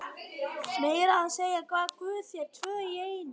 Meira að segja gaf guð þér tvö í einu.